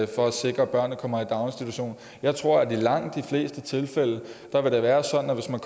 for at sikre at børnene kommer i daginstitution jeg tror at det i langt de fleste tilfælde vil være sådan at hvis man